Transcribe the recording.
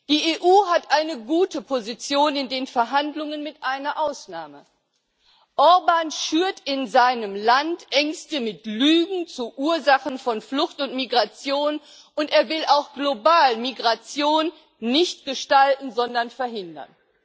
Die EU hat eine gute Position in den Verhandlungen mit einer Ausnahme Orbán schürt in seinem Land Ängste mit Lügen zu Ursachen von Flucht und Migration, und er will auch global Migration nicht gestalten, sondern verhindern.